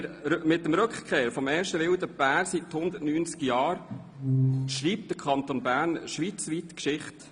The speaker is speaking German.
Mit der Rückkehr des ersten wildlebenden Bären seit 190 Jahren schreibt der Kanton Bern schweizweit Geschichte.